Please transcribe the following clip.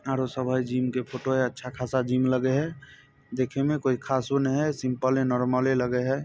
आरों सब है जिम के फोटो है अच्छा खासा जिम लगे है देखे में कोई खासों नेय है सिंपले नॉर्मले लगे है।